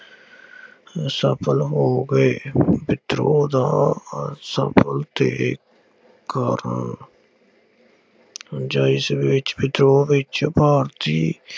ਸਫਲ ਹੋ ਗਏ। ਵਿਦਰੋਹ ਦਾ ਅਸਫਲ ਦੇ ਕਾਰਨ ਜਿਸ ਵਿੱਚ ਵਿਦਰੋਹ ਵਿੱਚ ਭਾਰਤੀ